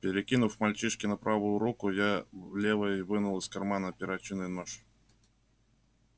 перекинув мальчишку на правую руку я левой вынул из кармана перочинный нож